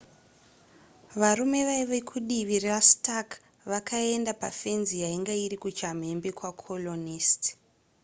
varume vaiva kudivi rastark vakaenda pafenzi yainge iri kuchamhembe kwacolonist